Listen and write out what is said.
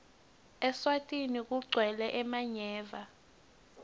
eswatini kagwele emanyeva